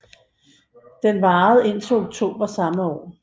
Den varede indtil oktober samme år